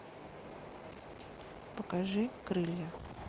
покажи крылья